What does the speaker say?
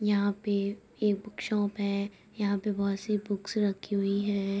यहाँ पे एक बुक शॉप है यहाँ पे बोहत सी बुक्स रखी हुई हैं |